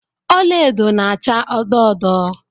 Ọla edo na-acha odo odo.